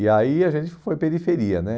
E aí a gente foi periferia né